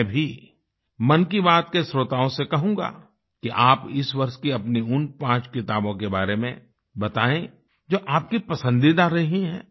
मैं भी मन की बात के श्रोताओ से कहूंगा कि आप इस वर्ष की अपनी उन पाँच किताबों के बारे में बताएं जो आपकी पसंदीदा रही हैं